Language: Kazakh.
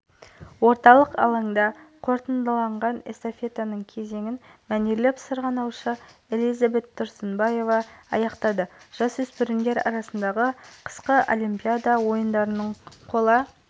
эстафета бағытының жалпы ұзындығы шақырым әрбір алаугер метр жүгіруйі тиіс сұлтан бейбарыс жібек жолы абай даңғылдары